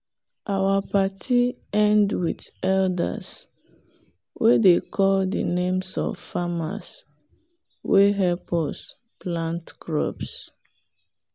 our party end with elders way dey call the names of farmers way help us plant crops